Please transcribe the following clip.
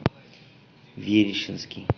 верещинский